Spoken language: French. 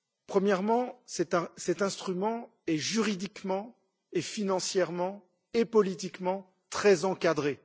Premièrement, cet instrument est juridiquement, financièrement et politiquement très encadré.